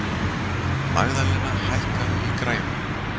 Magðalena, hækkaðu í græjunum.